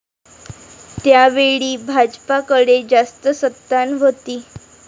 त्यावेळी भाजपाकडे जास्त सत्ता नव्हती.